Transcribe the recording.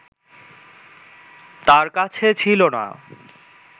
তার কাছে ছিল না